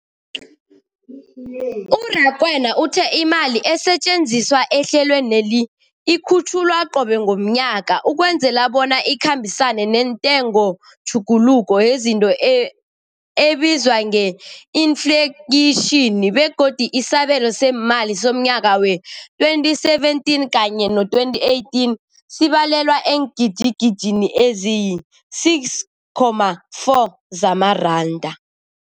U-Rakwena uthe imali esetjenziswa ehlelweneli ikhutjhulwa qobe ngomnyaka ukwenzela bona ikhambisane nentengotjhuguluko yezinto ebizwa nge-infleyitjhini, begodu isabelo seemali somnyaka we-2017 kanye no-18 sibalelwa eengidigidini ezisi-6.4 zamaranda.